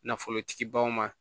Nafolotigibaw ma